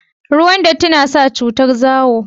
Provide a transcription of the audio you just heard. ruwan datti na sa cutar zawo